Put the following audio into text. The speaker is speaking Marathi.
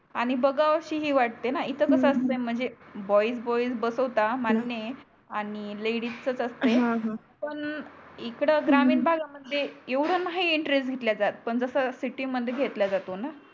बॉय बॉय बसवतात हा मान्य आहे आणि लेडीजच तस नाही हा हा पण इकड ग्रामीण भागा मध्ये येवड नाही इंट्रेस्ट घतल्या जात पण जस सिटि मध्ये घतल्या जातोणा